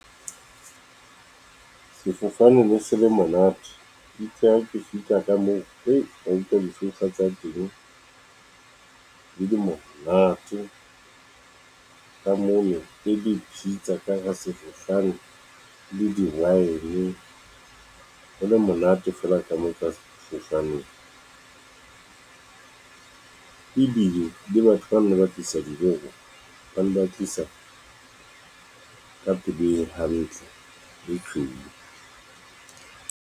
Sefofane ne se le monate itse ha ke fihla ka moo re utlwa di-sofa tsa teng di le monate, ka mona e le pizza ka hara sefofane le di-wine, ho le monate fela ka moo ka sefofaneng. Ebile le batho ba nne ba tlisa dijo ho rona, ba nne ba tlisa ka pelo hantle, e tshweu.